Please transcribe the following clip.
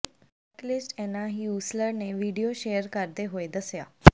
cyclist Anna Heusler ਨੇ video share ਕਰਦੇ ਹੋਏ ਦੱਸਿਆ